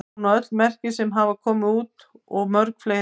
Hún á öll merki sem hafa komið út síðan og mörg fleiri.